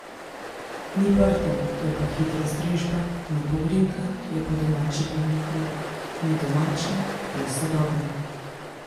Ni prtov, je pa hitra strežba, ni pogrinjka, je pa domač čebulni kruh, ni domačno, je sodobno.